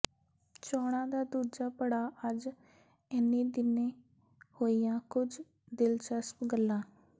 ਚੋਣਾਂ ਦਾ ਦੂਜਾ ਪੜਾਅ ਅੱਜ ਇਨ੍ਹੀਂ ਦਿਨੀਂ ਹੋਈਆਂ ਕੁਝ ਦਿਲਚਸਪ ਗੱਲਾਂ